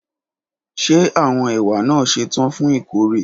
Ṣe awọn ewa naa ṣetan fun ikore?